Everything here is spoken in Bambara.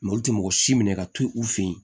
olu tɛ mɔgɔ si minɛ ka to yen u fɛ yen